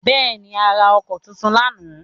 Bẹ́ẹ̀ ni, a ra ọkọ́ tuntun lánàá.